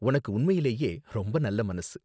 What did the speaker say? உனக்கு உண்மையிலேயே ரொம்ப நல்ல மனசு.